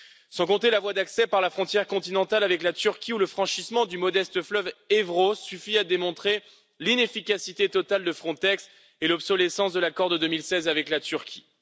Sans compter la voie d'accès par la frontière continentale avec la Turquie, où le franchissement du modeste fleuve Évros suffit à démontrer l'inefficacité totale de Frontex et l'obsolescence de l'accord de 2016 avec la Turquie.